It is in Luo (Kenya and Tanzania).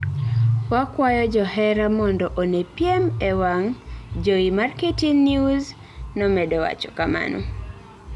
Wakwayo johera mondo one piem ee wang' jowi mar KTN News, nomedo wacho kamano